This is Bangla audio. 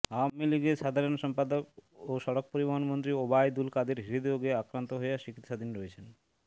আওয়ামী লীগের সাধারণ সম্পাদক ও সড়ক পরিবহন মন্ত্রী ওবায়দুল কাদের হৃদ্রোগে আক্রান্ত হয়ে চিকিৎসাধীন রয়েছেন